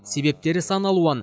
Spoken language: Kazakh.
себептері сан алуан